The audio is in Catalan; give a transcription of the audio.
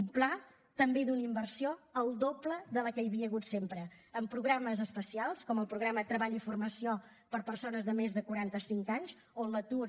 un pla també d’una inversió que és el doble de la que hi havia hagut sempre amb programes especials com el programa de treball i formació per a persones de més de quaranta cinc anys on l’atur